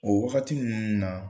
O wagati ninnu na